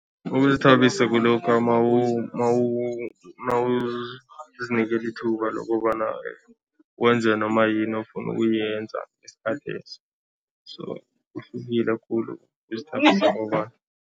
Ukuzithabisa kulokha mawuzinikela ithuba lokobana wenze noma yini ofuna ukuyenza ngesikhathesi so kuhlukile khulu